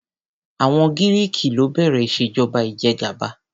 Àwọn Giriki ló bẹ̀rẹ̀ ìṣèjọba ìjẹgàba.